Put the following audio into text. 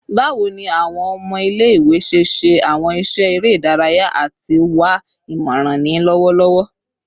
Bawo ni awọn ọmọ ile-iwe ṣe ṣe awọn iṣẹ ere idaraya ati wa imọran ni lọwọlọwọ?